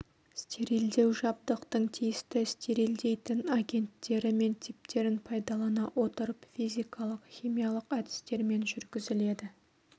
стерилдеу жабдықтың тиісті стерилдейтін агенттері мен типтерін пайдалана отырып физикалық химиялық әдістермен жүргізіледі